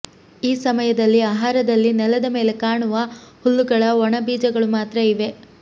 ಈ ಸಮಯದಲ್ಲಿ ಆಹಾರದಲ್ಲಿ ನೆಲದ ಮೇಲೆ ಕಾಣುವ ಹುಲ್ಲುಗಳ ಒಣ ಬೀಜಗಳು ಮಾತ್ರ ಇವೆ